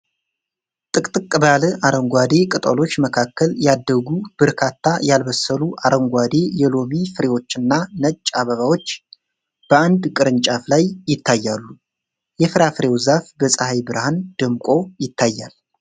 ጥቅጥቅ ባለ አረንጓዴ ቅጠሎች መካከል ያደጉ በርካታ ያልበሰሉ አረንጓዴ የሎሚ ፍሬዎችና ነጭ አበባዎች በአንድ ቅርንጫፍ ላይ ይታያሉ። የፍራፍሬው ዛፍ በፀሐይ ብርሃን ደምቆ ይታያል።